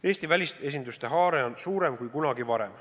Eesti välisesinduste haare on laiem kui kunagi varem.